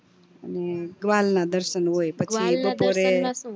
ને ગ્વાલ ના દર્શન હોય પછી બપોરે